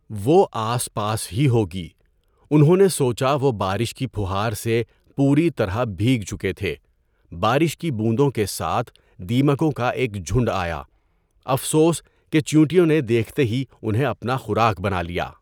وہ آس پاس ہی ہوگی۔ انہوں نے سوچا وہ بارش کی پھوہار سے پوری طرح بھیگ چکے تھے۔ بارش کی بوندوں کے ساتھ دیمکوں کا ایک جھنڈ آیا۔ افسوس کہ چیونٹیوں نے دیکھتے ہی انہیں اپنا خوراک بنا لیا۔